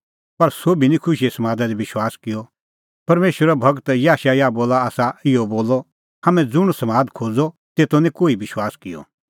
पर सोभी निं खुशीए समादा दी विश्वास किअ परमेशरो गूर याशायाह बोला आसा इहअ बोलअ हाम्हैं ज़ुंण समाद खोज़अ तेतो निं कोही विश्वास किअ